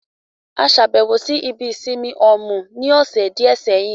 A lọ ṣàbẹ̀wọ̀ ibi ìsinmi Òmù ní ọ̀sẹ̀ díẹ̀ sẹ́yìn